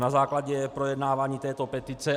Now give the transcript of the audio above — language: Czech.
Na základě projednávání této petice.